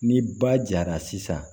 Ni ba jara sisan